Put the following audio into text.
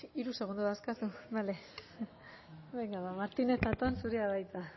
hiru segundu dauzkazu bale venga va martínez zatón zurea da hitza